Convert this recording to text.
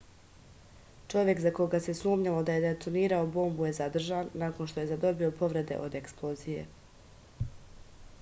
čovek za koga se sumnjalo da je detonirao bombu je zadržan nakon što je zadobio povrede od eksplozije